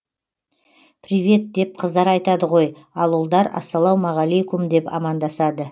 привет деп қыздар айтады ғой ал ұлдар ассалаумағалейкум деп амандасады